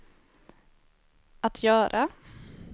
att göra